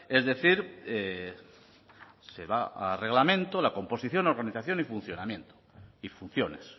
es decir se va a reglamento la composición organización y funcionamiento y funciones